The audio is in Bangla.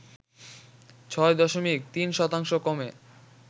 ৬ দশমিক ৩ শতাংশ কমে